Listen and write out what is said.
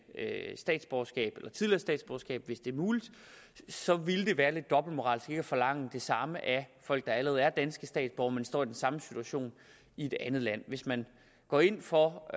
statsborgerskab hvis det er muligt så vil det være lidt dobbeltmoralsk ikke at forlange det samme af folk der allerede er danske statsborgere men står i den samme situation i et andet land hvis man går ind for og